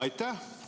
Aitäh!